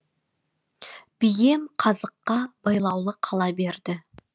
бием қазыққа байлаулы қала берді